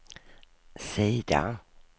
sida